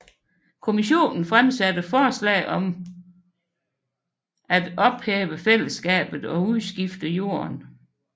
Kommissionen fremsatte forslag om ophæve fællesskabet og udskifte jorden